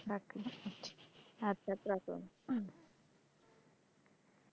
আচ্ছা আচ্ছা রাখলাম।